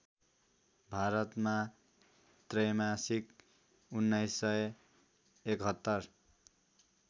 भारतमा त्रैमासिक १९७१